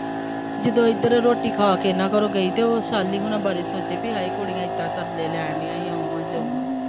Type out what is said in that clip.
ਜਦੋਂ ਇੱਧਰ ਰੋਟੀ ਖਾ ਕੇ ਇਹਨਾ ਘਰੋਂ ਗਈ ਅਤੇ ਉਹ ਸ਼ਾਲੀ ਹੁਣਾਂ ਬਾਰੇ ਸੋਚੇ ਬਈ ਹਾਏ ਕੁੜੀਆ ਏਦਾਂ ਤਰਲੇ ਲੈਣ ਦੀਆ ਊਂ ਆ ਜਾਊਂ ਆ